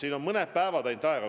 Meil on mõned päevad ainult aega.